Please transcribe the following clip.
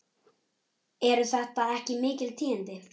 Eru þetta ekki mikil tíðindi?